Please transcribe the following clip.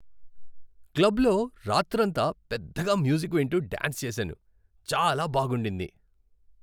క్లబ్లో రాత్రంతా పెద్దగా మ్యూజిక్ వింటూ డ్యాన్స్ చేశాను. చాలా బాగుండింది.